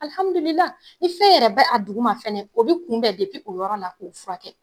Alhamdulilahi ni fɛn yɛrɛ bɛ a dugu ma fɛnɛ, o bɛ kunbɛn o yɔrɔ la, o bɛ furakɛ.